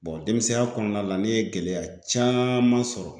denmisɛnya kɔnɔna la ne ye gɛlɛya caman sɔrɔ